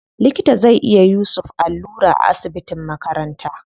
Likita zai iya yusuf allura a asibitin makaranta.